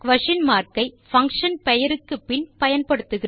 ஐ function பெயருக்கு பின் பயன்படுத்துகிறோம்